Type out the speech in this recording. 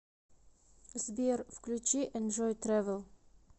сбер включи энжой трэвэл